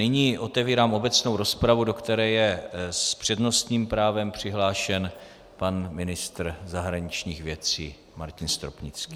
Nyní otevírám obecnou rozpravu, do které je s přednostním právem přihlášen pan ministr zahraničních věcí Martin Stropnický.